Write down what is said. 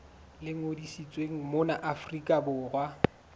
le ngodisitsweng mona afrika borwa